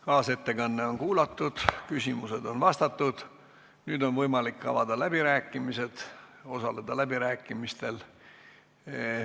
Kaasettekanne on kuulatud, küsimused on vastatud, nüüd on võimalik osaleda läbirääkimistel.